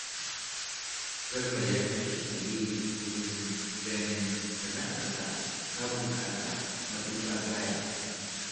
Garba ya tashi tsaye wurin ganin sana'arsa ta bunƙasa matuƙa gaya